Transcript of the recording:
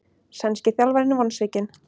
Sænski þjálfarinn vonsvikinn